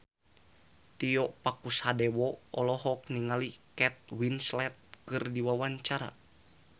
Tio Pakusadewo olohok ningali Kate Winslet keur diwawancara